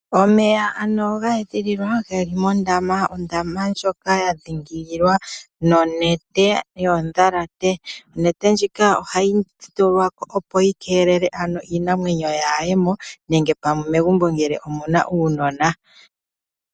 Omeya ge li mondama ndjoka ya dhiingililwa nonete yoondjalate, onete ndjika ohayi tulwako opo yi keelele iinamwenyo yaa ye mo nenge pamwe megumbo omu na uunona.